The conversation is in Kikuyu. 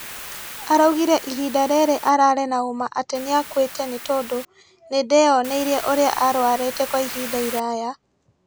Araugire ihinda rĩrĩ ararĩ na ũma atĩ nĩakuite nĩ tondũ , nĩndeyoneire ũrĩa arwarĩte kwa ihinda iraya